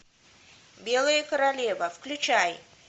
белая королева включай